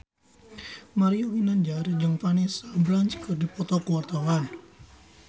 Mario Ginanjar jeung Vanessa Branch keur dipoto ku wartawan